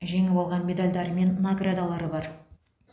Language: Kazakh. жеңіп алған медальдар мен наградалары бар